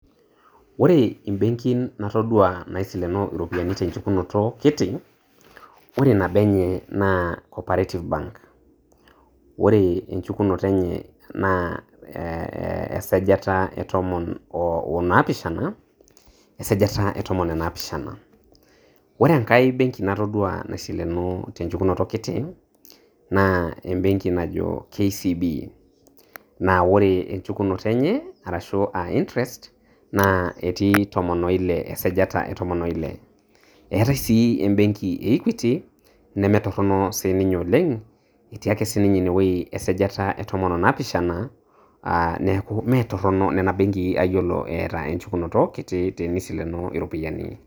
Ore ebenkin natodua naisilenoo iropiani tenchukunoto kiti, ore nabo enye naa ccoperative bank ore enchukunoto enye naa esajata ee otomon onapishana esajata etomon enapishana ore enkae benki natodua isilenoo tenchukunoto kiti na ebenki naajo kcb, na ore enshukunoto enyeashu aa intrest naa eti tomon oilee, esajata etom oilee etae sii ebenki eiquity nemetorono sininye oleng eti ake sininye ineweuji esajata etomon onapishana aa niaku metorono niaku nena benki ayiolo eata enchukunoto kiti tenisileno iropiani,